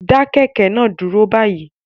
Dá kẹ̀kẹ́ náà dúró báyìí